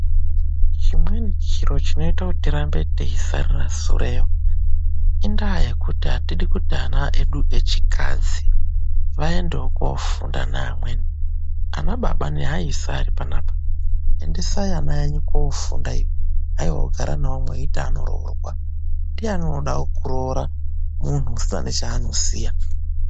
Chimweni chiro chinoita tirambe techisarira sureyo, indaa yekuti atidi kuti ana edu echikadzi vaendewo koofunda neamweni. Anababa neaisa ese aripanaapa, endesai ana enyu koofunda iyo. Haiwa kugara nawo mweiti anooroorwa, ndiyani unoda kuroora munthu usina nechaanoziya..